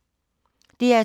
DR2